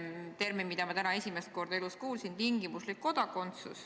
See on termin, mida ma täna esimest korda elus kuulsin.